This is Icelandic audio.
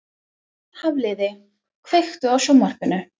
Hafliði, kveiktu á sjónvarpinu.